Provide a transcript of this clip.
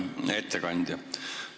Hea ettekandja!